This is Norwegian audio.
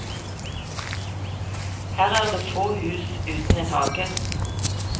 Her er det få hus uten en hage.